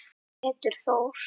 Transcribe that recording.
Pétur Þór.